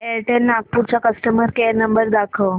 Airtel Nagpur चा customer care number दाखव